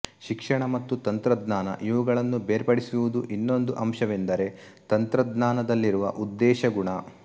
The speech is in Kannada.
ಶಿಕ್ಷಣ ಮತ್ತು ತಂತ್ರಜ್ಞಾನ ಇವುಗಳನ್ನು ಬೇರ್ಪಡಿಸುವುದು ಇನ್ನೊಂದು ಅಂಶವೆಂದರೆ ತಂತ್ರಜ್ಞಾನದಲ್ಲಿರುವ ಉದ್ದೇಶ ಗುಣ